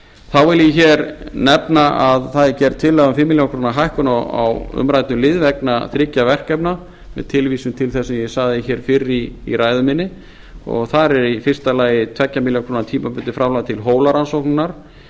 þá vil ég nefna að það er gerð tillaga um fimm milljónir króna hækkun á umræddum lið vegna þriggja verkefna með tilvísun til ae sem ég sagði fyrr í ræðu minni og þar er í fyrsta lagi tveggja milljóna króna tímabundið framlag til